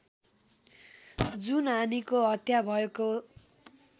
जुन हानिको हत्या भएको